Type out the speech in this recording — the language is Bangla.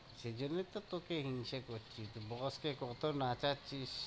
সেই জন্যেই তো তোকে হিংসে করছি, তুই boss কে কত নাচাচ্ছিস?